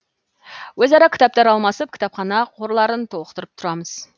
өзара кітаптар алмасып кітапхана қорларын толықтырып тұрамыз